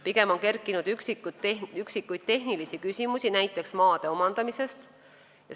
Pigem on kerkinud üksikuid tehnilisi küsimusi, näiteks maade omandamise kohta.